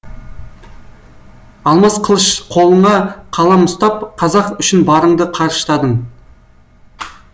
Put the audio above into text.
алмас қылыш қолыңа қалам ұстап қазақ үшін барыңды қарыштадың